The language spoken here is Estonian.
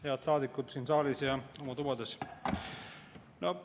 Head saadikud siin saalis ja oma tubades!